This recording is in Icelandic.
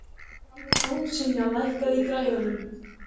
Ásynja, lækkaðu í græjunum.